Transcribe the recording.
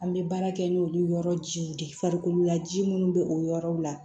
An bɛ baara kɛ n'olu yɔrɔ jiw de farikolola ji minnu bɛ o yɔrɔw la